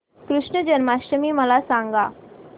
कृष्ण जन्माष्टमी मला सांग